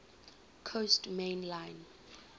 coast main line